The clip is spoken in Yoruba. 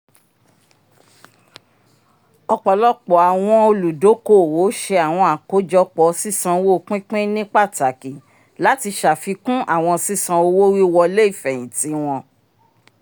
ọpọlọpọ awọn oludokoowo ṣe awọn akojọpọ sisanwo pínpín ni pàtàkì lati ṣàfikún àwọn ṣiṣan owo-wiwọle ifẹhinti wọn